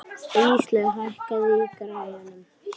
Íslaug, hækkaðu í græjunum.